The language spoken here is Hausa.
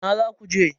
Ina zaku je?